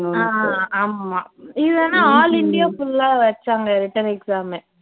ஆஹ் அஹ் அஹ் ஆமா ஆமா இது ஆனா all india full ஆ வச்சாங்க written exam